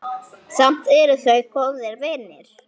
Samt eru þau góðir vinir.